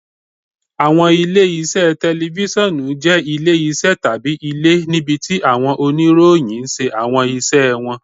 Awọn ile-iṣẹ tẹlifisiọnu jẹ ile-iṣẹ tabi ile, nibiti awọn oniroyin ṣe awọn iṣẹ wọn.